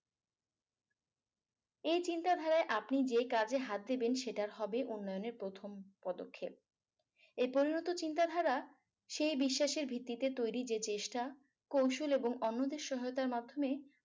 এই চিন্তাধারায় আপনি যে কাজে হাত দিবেন সেটার হবে উন্নয়নের প্রথম পদক্ষেপ এই পরিণত চিন্তাধারা সেই বিশ্বাসের ভিত্তিতে তৈরী যে চেষ্টা কৌশল এবং অন্যদের সহায়তার মাধ্যমে